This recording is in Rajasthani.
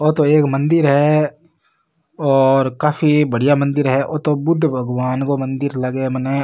ओ तो एक मंदिर है और काफी बढ़िया मंदिर है ओ तो बुद्ध भगवान को मंदिर लागे मने।